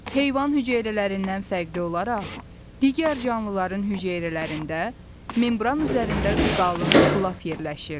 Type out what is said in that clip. Heyvan hüceyrələrindən fərqli olaraq digər canlıların hüceyrələrində membran üzərində qalın qılaf yerləşir.